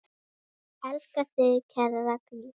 Elska þig, kæra Raggý.